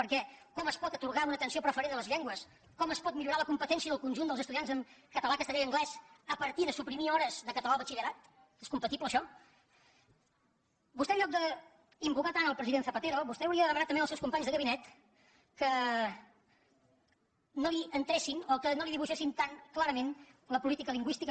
perquè com es pot atorgar una atenció preferent a les llengües com es pot millorar la competència del conjunt dels estudiants en català castellà i anglès a partir de suprimir hores de català al batxillerat és compatible això vostè en lloc d’invocar tant el president zapatero vostè hauria de demanar també als seus companys de gabinet que no li entressin o que no li dibuixessin tan clarament la política lingüística